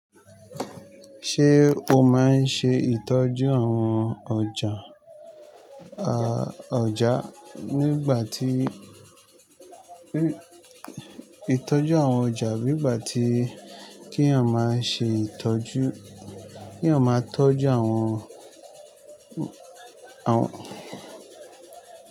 Ṣé o máa ń ṣe ìtọ́jú àwọn ọjà, à, ọjá nígbà tí, ìtọ́jú àwọn ọjà nígbà tí kí èèyàn máa ṣe ìtọ́jú, kí èèyàn máa tọ́jú àwọn, àwọn.